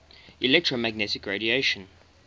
electromagnetic radiation